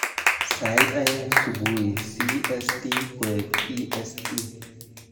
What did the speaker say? Sait aeng subui c.s.t koek e.s.t